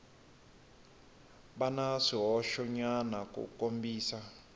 va na swihoxonyana ku kombisa